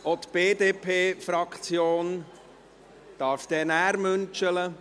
Auch die BDP-Fraktion, Sie dürfen nachher Küsschen verteilen.